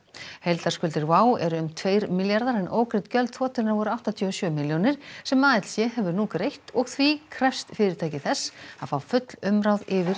heildarskuldir eru um tveir milljarðar en ógreidd gjöld þotunnar voru áttatíu og sjö milljónir sem ALC hefur nú greitt og því krefst fyrirtækið þess að fá full umráð yfir